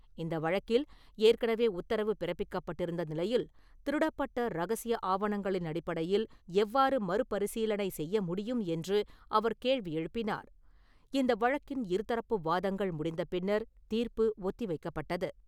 இந்த வழக்கில் ஏற்கனவே உத்தரவு பிறப்பிக்கப்பட்டிருந்த நிலையில், திருடப்பட்ட ரகசிய ஆவணங்களின் அடிப்படையில் எவ்வாறு மறுபரிசீலனை செய்ய முடியும் என்று அவர் கேள்வி எழுப்பினார். இந்த வழக்கின் இருதரப்பு வாதங்கள் முடிந்த பின்னர் தீர்ப்பு ஒத்தி வைக்கப்பட்டது.